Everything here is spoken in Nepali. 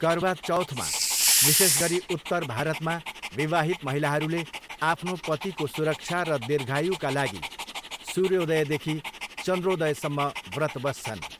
करवा चौथमा, विशेष गरी उत्तर भारतमा विवाहित महिलाहरूले आफ्नो पतिको सुरक्षा र दीर्घायुका लागि सूर्योदयदेखि चन्द्रोदयसम्म व्रत बस्छन्।